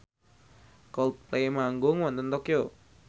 Coldplay manggung wonten Tokyo